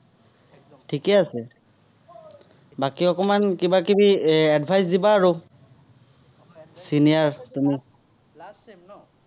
last sem ন '?